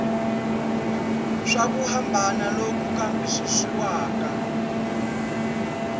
swa ku hambana loku kambisisiwaka